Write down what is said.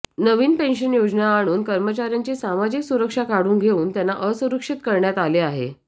नवीन pension योजना आणून कर्मचाऱ्यांची सामाजिक सुरक्षा काढून घेऊन त्यांना असुरक्षित करण्यात आले आहे